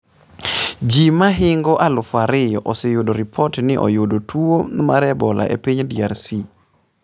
Ji mahingo aluf ariyo oseyudo ripot ni oyudo tuo mar Ebola e piny DRC